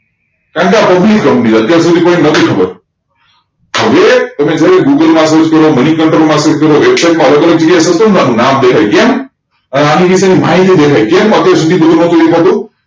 કેમ કે આ પબ્લિક company અત્યાર સુધી કોઈને નથી ખબર હવે એને google માં સેર્ચ કર્યો money control માં સેર્ચ કર્યો નામ દેખાય કેમ આની વિષય માહિતી દેખાય કેમ થતું